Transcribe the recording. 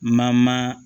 Mama